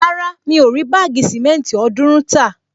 Rárá, mi ò rí báàgì sìmẹ́ntì ọ̀ọ́dúrún tà